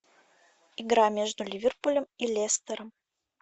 игра между ливерпулем и лестером